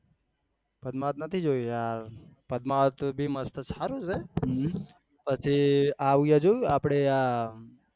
પદમાવત નથી જોયું યાર પદમાવત તો કેટલી મસ્ત છે પછી આવ્યું જોયું આપળે યાર